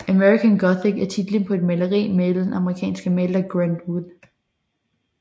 American Gothic er titlen på et maleri malet af den amerikanske maler Grant Wood